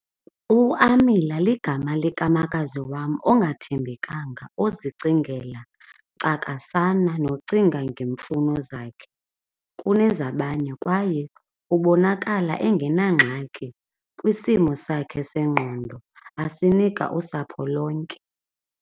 UAmila ligama likamakazi wam ongathembekanga ozicingela cakasana nocinga ngeemfuno zakhe kunezabanye, kwaye ubonakala engenangxaki kwisimo sakhe sengqondo asinika usapho lonke.